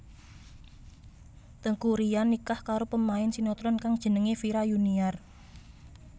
Teuku Ryan nikah karo pemain sinetron kang jenengé Vira Yuniar